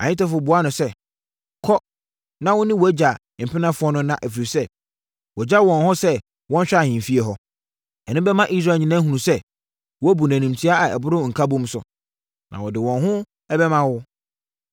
Ahitofel buaa no sɛ, “Kɔ na wo ne wʼagya mpenafoɔ no nna, ɛfiri sɛ, wagya wɔn hɔ sɛ wɔnhwɛ ahemfie hɔ. Ɛno bɛma Israel nyinaa ahunu sɛ, woabu no animtia a ɛboro nkabom so, na wɔde wɔn ho bɛma wo.”